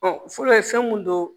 fɔlɔ ye fɛn mun don